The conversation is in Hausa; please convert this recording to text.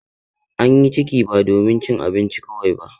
An yi ciki ba domin cin abinci kawai ba.